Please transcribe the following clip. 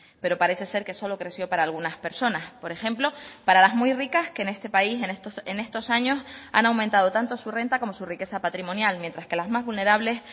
pero parece ser que solo creció para algunas personas por ejemplo para las muy ricas que en este país en estos años han aumentado tanto su renta como su riqueza patrimonial mientras que las más vulnerables